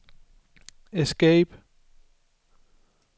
escape